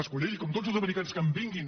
mas colell com tots els americans que em vinguin